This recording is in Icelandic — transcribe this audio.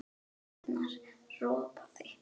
Arnar ropaði.